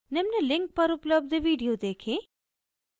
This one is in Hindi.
निम्न link पर उपलब्ध video देखें